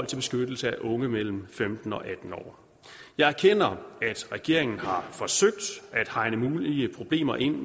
beskyttelsen af unge mellem femten år og atten år jeg erkender at regeringen har forsøgt at hegne mulige problemer ind